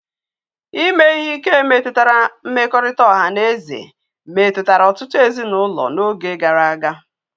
Ime ihe ike metụtara mmekọrịta ọha na eze metụtara ọtụtụ ezinụlọ n'oge gara aga.